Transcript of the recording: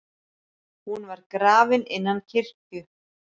Hún var grafin innan kirkju.